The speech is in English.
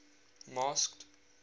masked